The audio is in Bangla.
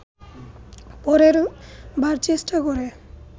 পরের বার চেষ্টা করে